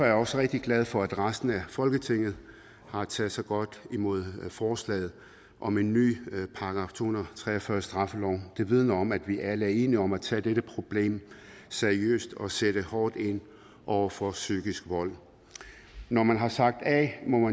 jeg også rigtig glad for at resten af folketinget har taget så godt imod forslaget om en ny § to hundrede og tre og fyrre i straffeloven det vidner om at vi alle er enige om at tage dette problem seriøst og sætte hårdt ind over for psykisk vold når man har sagt a må